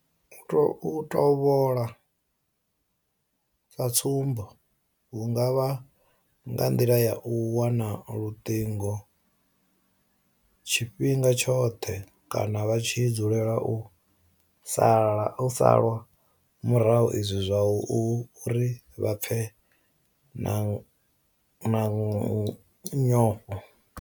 U tovhola sa tsumbo hu nga vha nga nḓila ya u wana luṱingo tshifhinga tshoṱhe kana vha tshi dzulela u salwa murahu izwi zwa ita uri vha pfe vha na nyofho.